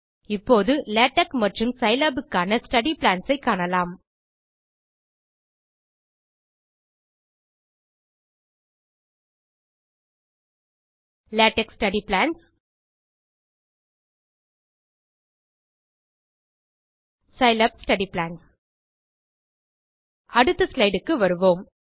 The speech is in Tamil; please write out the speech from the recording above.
இப்போது லேடெக்ஸ் மற்றும் Scilabக்கான ஸ்டடி பிளான்ஸ் ஐ காணலாம் LaTeX study plans Scilab study plans அடுத்த slideக்கு வருவோம்